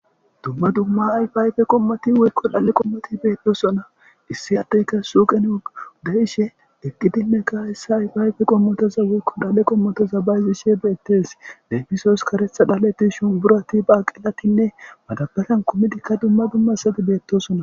Dumma dumma ayfayfe qommoti woykko dhalle qommoti beettosona issi addeyka suuqen odayishe deqqidinne ka issa ayfayfe qommotoza wokko dhalle qommotoza bayzishe beettes leefiso oskaretha dhaletti shumburati baaqelatinne madabatan kumidikka dumma dumma sati beettosona.